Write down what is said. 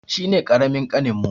Shi ne ƙaramin ƙaninmu.